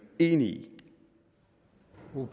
enig